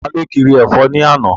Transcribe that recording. Taló kiri ẹ̀fọ́ ní àná?